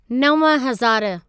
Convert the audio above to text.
नव हज़ारु